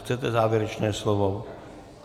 Chcete závěrečné slovo?